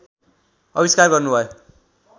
अविस्कार गर्नुभयो